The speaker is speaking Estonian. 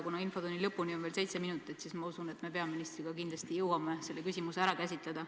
Kuna infotunni lõpuni on veel seitse minutit, siis ma usun, et me peaministriga kindlasti jõuame selle küsimuse ära käsitleda.